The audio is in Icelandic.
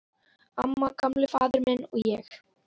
Amma, Gamli faðir minn, og ég.